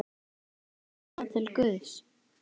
Fer sálin þá til guðs?